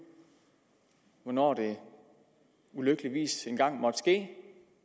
hvornår det ulykkeligvis engang måtte ske